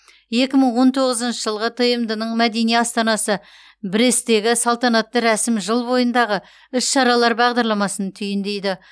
екі мың он тоғызыншы жылғы тмд ның мәдени астанасы бресттегі салтанатты рәсім жыл бойындағы іс шаралар бағдарламасын түйіндейді